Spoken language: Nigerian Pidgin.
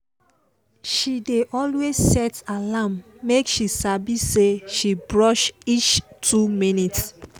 she dey always set alarm make she sabi say she brush reach two minutes